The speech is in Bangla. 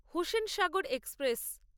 হুসেনসাগর এক্সপ্রেস